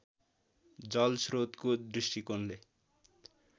जलश्रोतको दृष्टिकोणले